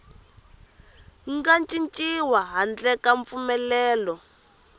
nga cinciwi handle ka mpfumelelo